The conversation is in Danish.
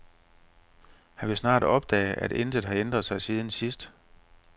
Han vil snart opdage, at intet har ændret sig siden sidst.